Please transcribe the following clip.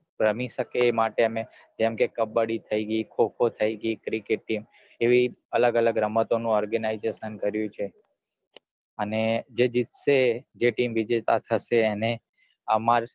રમી સકે એ માટે અમે જેમકે કબ્બડી થઇ ગઈ ખો ખો થી ગઈ cricket છે એવી અલગ અલગ રમતો નું organization કરિયું છે અને જે જીતશે જે team વિજેતા થશે એને અમાર